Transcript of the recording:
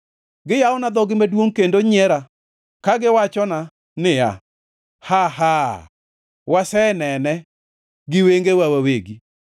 Giyawona dhogi maduongʼ kendo nyiera ka giwachona giwacho niya, “Haa! Haa! Wasenene gi wengewa wawegi.”